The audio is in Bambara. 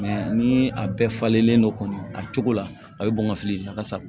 ni a bɛɛ falenlen don kɔni a cogo la a bɛ bɔn ka fili a ka sa